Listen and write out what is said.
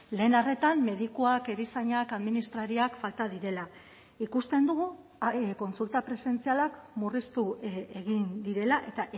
lehen arretan medikuak erizainak administrariak falta direla ikusten dugu kontsulta presentzialak murriztu egin direla eta